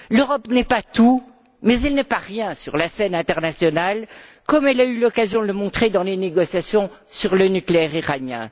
L'Europe n'est pas tout, mais elle n'est pas rien sur la scène internationale, comme elle a eu l'occasion de le montrer dans les négociations sur le nucléaire iranien.